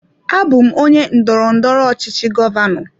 Abụ m onye ndọrọndọrọ ọchịchị govano.